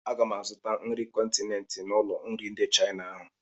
Aga m azụta nri kọntinent n'ụlọ nri ndị Chaịna ahụ.